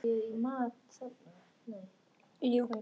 Þú hefðir átt að stoppa hann.